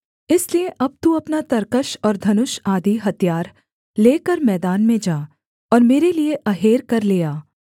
इसलिए अब तू अपना तरकश और धनुष आदि हथियार लेकर मैदान में जा और मेरे लिये अहेर कर ले आ